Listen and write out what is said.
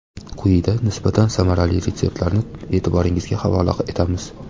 Quyida nisbatan samarali retseptlarni e’tiboringizga havola etamiz.